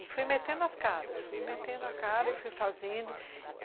E fui metendo as caras, fui metendo as caras e fui fazendo.